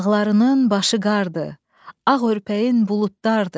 Dağlarının başı qardır, ağ örpəyin buludlardır.